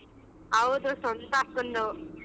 ಹೌದು ಸ್ವಂತ ಅಕ್ಕಂದು.